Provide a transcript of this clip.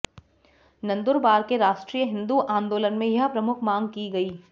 नंदुरबार के राष्ट्रीय हिन्दू आंदोलन में यह प्रमुख मांग की गई